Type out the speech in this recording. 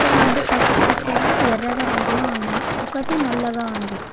ఇంకా రెండు పసుపు పచ్చ ఎర్ర రంగులో ఉన్నాయి. ఒకటి నల్లగా ఉంది.